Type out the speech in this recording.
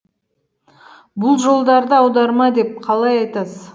бұл жолдарды аударма деп қалай айтасыз